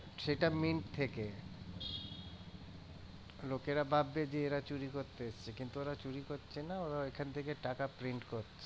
সেটা থেকে লোকেরা ভাববে যে এরা চুরি করতে এসছে কিন্তু ওরা চুরি করছে না। ওরা ওখান থেকে টাকা print করছে।